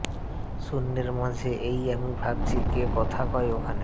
শূন্যের মাঝে এই আমি ভাবছি কে কথা কয় ওখানে